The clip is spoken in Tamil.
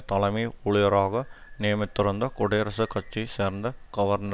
தலைமை ஊழியராக நியமித்திருந்த குடியரசுக் கட்சியை சேர்ந்த கவர்னர்